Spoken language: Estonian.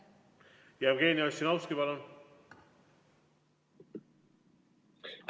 Jevgeni Ossinovski, palun!